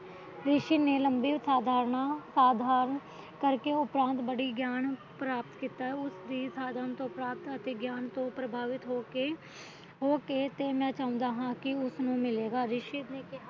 ਰਿਛੀ ਨੇ ਲੰਮੀ ਉਦਾਹਰਣਾ ਸਾਧਾਰਨ ਕਰਕੇ ਬੜੀ ਉਪਰਾਤ ਗਿਆਨ ਪ੍ਰਾਪਤ ਕੀਤਾ ਹੈ ਉਸ ਦੀ ਅਤੇ ਗਿਆਨ ਤੋ ਪ੍ਰਭਾਵਿਤ ਹੋ ਕੇ ਕਹਿਣਾ ਚਾਹੁੰਦਾ ਹਾ